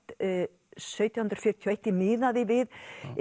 sautján hundruð fjörutíu og eitt ég miðaði við